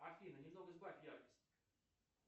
афина немного сбавь яркость